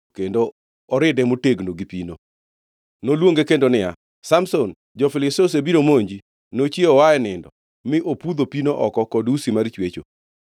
kendo oride motegno gi pino. Noluonge kendo niya, “Samson, jo-Filistia osebiro monji.” Nochiewo oa e nindo mi opudho pino oko kod usi mar chwecho.